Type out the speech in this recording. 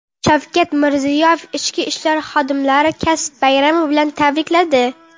Shavkat Mirziyoyev ichki ishlar xodimlarini kasb bayrami bilan tabrikladi.